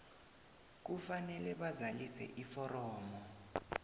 kufanele bazalise iforomo